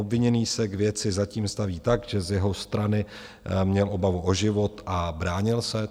Obviněný se k věci zatím staví tak, že z jeho strany měl obavu o život a bránil se.